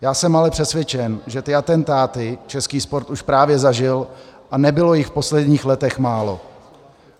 Já jsem ale přesvědčen, že ty atentáty český sport už právě zažil a nebylo jich v posledních letech málo.